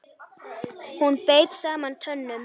Hún beit saman tönnum.